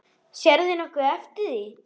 Sérðu nokkuð eftir því?